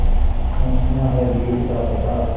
पूछना है जीत का पता